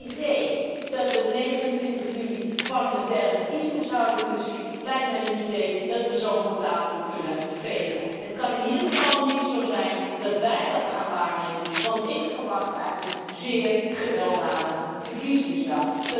Het idee dat we op 29 juni parlementaire verkiezingen zouden kunnen zien, lijkt me een idee dat we zo van tafel kunnen vegen. Wij zullen dat in ieder geval niet kunnen waarnemen, want ik verwacht eigenlijk een zeer gewelddadige verkiezingsdag.